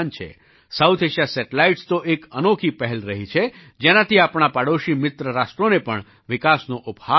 south Asia satellites તો એક અનોખી પહેલ રહી છે જેનાથી આપણા પડોશી મિત્ર રાષ્ટ્રોને પણ વિકાસનો ઉપહાર આપ્યો છે